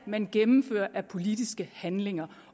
man gennemfører af politiske handlinger